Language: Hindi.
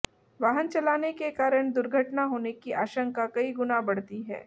वाहन चलाने के कारण दुर्घटना होने की आशंका कई गुना बढ़ती है